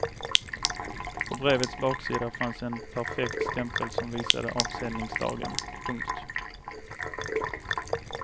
På brevets baksida fanns en perfekt stämpel som visade avsändningsdagen. punkt